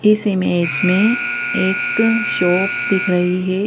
इस इमेज में एक शॉप दिख रही है।